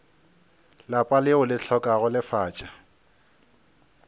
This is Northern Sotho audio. lapa leo le hlokago lefatša